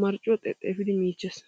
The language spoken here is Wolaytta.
marccuwaa xexefiidi miichchees.